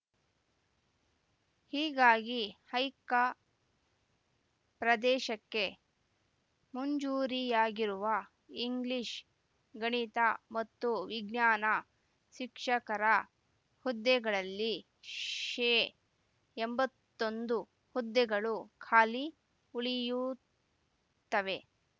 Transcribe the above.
ಹೀಗಾಗಿ ಹೈಕ ಪ್ರದೇಶಕ್ಕೆ ಮುಂಜೂರಿಯಾಗಿರುವ ಇಂಗ್ಲಿಷ್‌ ಗಣಿತ ಮತ್ತು ವಿಜ್ಞಾನ ಶಿಕ್ಷಕರ ಹುದ್ದೆಗಳಲ್ಲಿ ಶೇ ಎಂಬತ್ತೊಂದು ಹುದ್ದೆಗಳು ಖಾಲಿ ಉಳಿಯುತ್ತವೆ